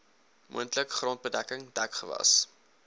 moontlik grondbedekking dekgewas